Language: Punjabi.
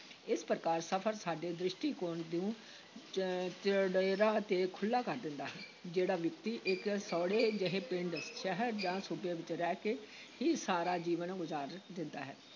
ਇਸ ਪ੍ਰਕਾਰ ਸਫ਼ਰ ਸਾਡੇ ਦ੍ਰਿਸ਼ਟੀਕੋਣ ਨੂੰ ਚ ਚੌੜੇਰਾ ਤੇ ਖੁੱਲ੍ਹਾ ਕਰ ਦਿੰਦਾ ਹੈ, ਜਿਹੜਾ ਵਿਅਕਤੀ ਇਕ ਸੌੜੇ ਜਿਹੇ ਪਿੰਡ, ਸ਼ਹਿਰ ਜਾਂ ਸੂਬੇ ਵਿਚ ਰਹਿ ਕੇ ਹੀ ਸਾਰਾ ਜੀਵਨ ਗੁਜ਼ਾਰ ਦਿੰਦਾ ਹੈ,